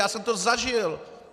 Já jsem to zažil.